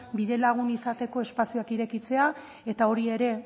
bidelagun izateko espazioak irekitzea eta hori ere